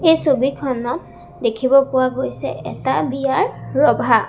এই ছবিখনত দেখিব পোৱা গৈছে এটা বিয়াৰ ৰভা।